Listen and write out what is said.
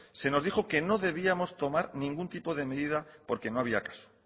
se nos dijo que debíamos tomar ningún tipo de medida porque no había caso